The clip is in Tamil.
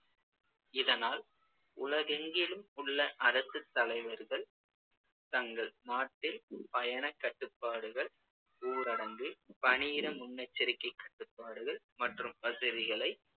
இதனால் உலகெங்கிலும் உள்ள அரசுத் தலைவர்கள் தங்கள் நாட்டில் பயணக் கட்டுப்பாடுகள், ஊரடங்கு, பணியிட முன்னெச்சரிக்கைக் கட்டுப்பாடுகள் மற்றும் வசதிகளை